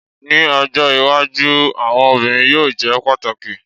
Ni ojo iwaju awọn obirin yoo jẹ pataki